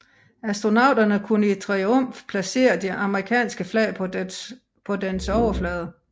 Astronauterne kunne i triumf placere det amerikanske flag på dens overflade